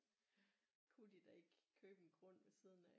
Kunne de da ikke købe en grund ved siden af